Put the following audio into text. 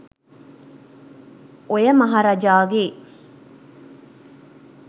ඔය මහරජාගේ